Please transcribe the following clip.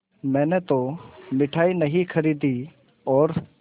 मैंने तो मिठाई नहीं खरीदी और